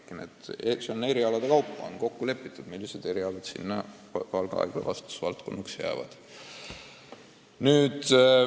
Aga jah, erialade kaupa on kokku lepitud, millised erialad jäävad Valga haigla vastutusvaldkonnaks.